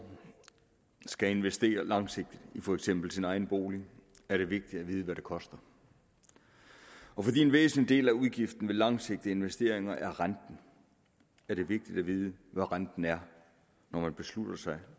skal investere langsigtet i for eksempel sin egen bolig er det vigtigt at vide hvad det koster og fordi en væsentlig del af udgiften ved langsigtede investeringer er renten er det vigtigt at vide hvad renten er når man beslutter sig